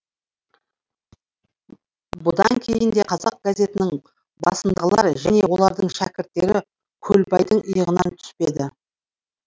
бұдан кейін де қазақ газетінің басындағылар және олардың шәкірттері көлбайдың иығынан түспеді